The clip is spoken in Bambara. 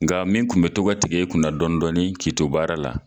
Nga min kun be to ga tigɛ e kunna dɔnidɔnin k'i to baara la